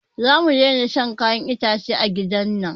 Zamu daina shan kayan itace a gidan nan